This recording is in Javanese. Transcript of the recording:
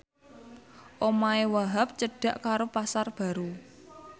omahe Wahhab cedhak karo Pasar Baru